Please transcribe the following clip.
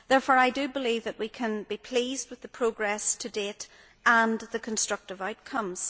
Therefore I believe that we can be pleased with the progress to date and the constructive outcomes.